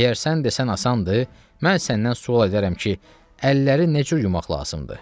Əgər sən desən asandır, mən səndən sual edərəm ki, əlləri necə yumaq lazımdır?